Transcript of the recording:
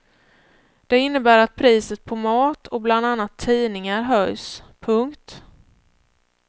Det innebär att priset på mat och bland annat tidningar höjs. punkt